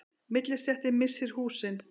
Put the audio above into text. Millistéttin missir húsin